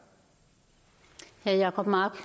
jacob mark